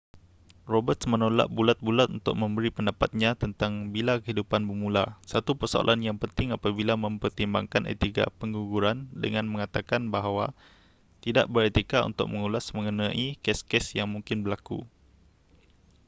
roberts menolak bulat-bulat untuk memberi pendapatnya tentang bila kehidupan bermula satu persoalan yang penting apabila mempertimbangkan etika pengguguran dengan mengatakan bahawa tidak beretika untuk mengulas mengenai kes-kes yang mungkin berlaku